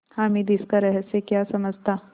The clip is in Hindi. हामिद इसका रहस्य क्या समझता